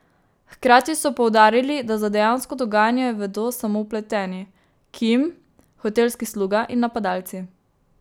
Hkrati so poudarili, da za dejansko dogajanje vedo samo vpleteni, Kim, hotelski sluga in napadalci.